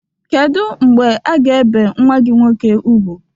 Kedụ mgbe aga-ebe nwa gi nwọke ùgwú?